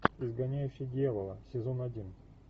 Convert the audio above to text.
изгоняющий дьявола сезон один